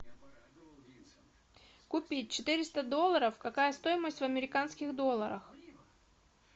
купить четыреста долларов какая стоимость в американских долларах